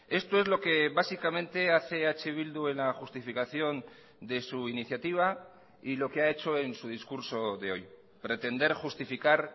esto es lo que básicamente hace eh bildu en la justificación de su iniciativa y lo que ha hecho en su discurso de hoy pretender justificar